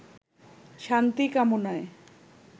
শান্তি কামনায়